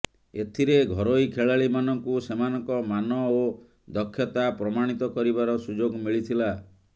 ଏଥିରେ ଘରୋଇ ଖେଳାଳିମାନଙ୍କୁ ସେମାନଙ୍କ ମାନ ଓ ଦକ୍ଷତା ପ୍ରମାଣିତ କରିବାର ସୁଯୋଗ ମିଳିଥିଲା